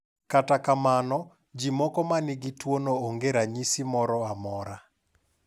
Kata kamano, ji moko ma nigi tuwono onge gi ranyisi moro amora.